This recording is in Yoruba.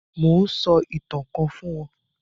Mò ún sọ ìtàn kan fún wọn